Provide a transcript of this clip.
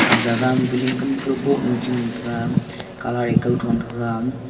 a jaga biling kam kawboh nu chengan taiga colour e kawthon thega.